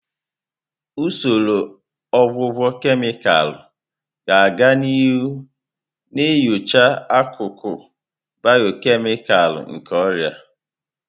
Usoro ọgwụgwọ kemịkalụ ga-aga n'ihu na-enyocha akụkụ bịọkemịkal nke ọrịa.